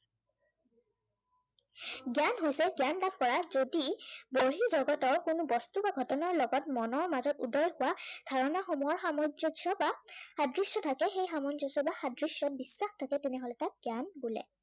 জ্ঞান হৈছে জ্ঞান বা প্ৰয়াস যদি বহি জগতৰ কোনো বস্তু বা ঘটনাৰ লগত মনৰ মাজত উদয় হোৱা ধাৰনা সমূহৰ সামঞ্জস্য় বা সাদৃশ্য় থাকে, সেই সামঞ্জস্য় বা সাদৃশ্য়সমূহৰ বিশ্বাস থাকে তেনে হলে তাক জ্ঞান বোলে।